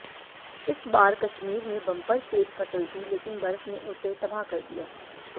इस बार कश्मीर में बम्पर सेब फसल थी लेकिन बर्फ ने उसे तबाह कर दिया